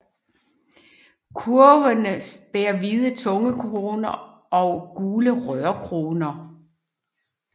Kurvene bærer hvide tungekroner og gule rørkroner